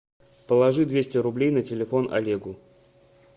положи двести рублей на телефон олегу